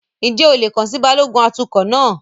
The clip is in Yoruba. Ǹjẹ́ o lè kàn sí Balógun atukọ̀ náà?